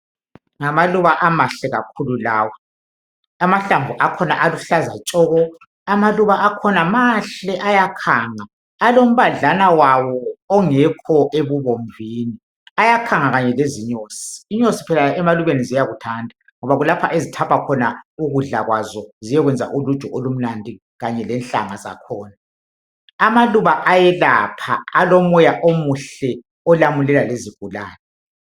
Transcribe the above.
Ngamaluba amahle kakhulu lawa .Amahlamvu akhona aluhlaza tshoko .Amaluba akhona mahle ayakhanga .Alombadlana wawo ongekho ebubomvini ayakhanga kanye lezinyosi .Inyosi phela emalubeni ziyakuthanda .Ngoba kulapha ezithapha khona ukudla kwazo ziyekwenza uluju olumnandi kanye lenhlanga zakhona .Amaluba ayelapha alomoya omuhle olamulela lezigulane .